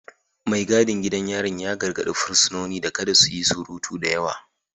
Mai gadin gidan yarin ya gargadi fursunonin da kada su yi surutu da yawa